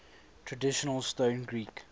traditional stone greek